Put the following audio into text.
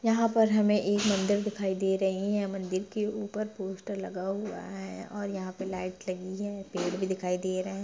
यहाँ पर हमे एक मन्दिर दिखाई दे रही है मन्दिर के ऊपर पोस्टर लगा हुआ है और यहाँ पे लाइट लगी है पेड़ भी दिखाई दे रहे--